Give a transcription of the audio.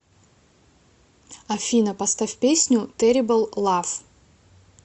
афина поставь песню терибл лав